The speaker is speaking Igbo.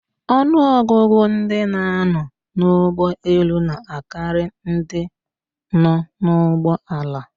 Ọnụọgụgụ ndị na-anọ n'ụgbọelu na akarị ndị nọ n'ụgbọala